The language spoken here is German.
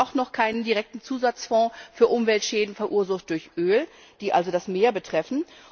Es gibt auch noch keinen direkten Zusatzfonds für Umweltschäden, verursacht durch Öl, die das Meer betreffen.